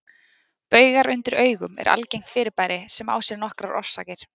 Baugar undir augum eru algengt fyrirbæri sem á sér nokkrar orsakir.